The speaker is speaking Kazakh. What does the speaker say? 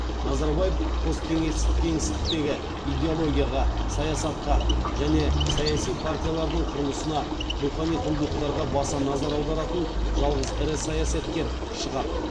назарбаев посткеңестік кеңістіктегі идеологияға саясатқа және саяси партиялардың құрылысына рухани құндылықтарға баса назар аударатын жалғыз ірі саясаткер шығар